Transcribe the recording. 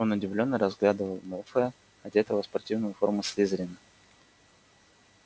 он удивлённо разглядывал малфоя одетого в спортивную форму слизерина